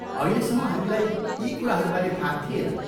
अहिलेसम्म हामीलाई यी कुराहरूबारे थाहा थिएन।